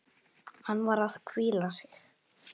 Hann var að hvíla sig.